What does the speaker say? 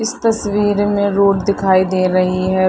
इस तस्वीर में रोड दिखाई दे रही है।